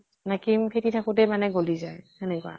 না cream ফেতি থাকোতে মানে গলি যায়, সেনেকুৱা।